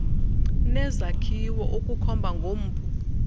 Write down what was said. nezakhiwo ukukhomba ngompu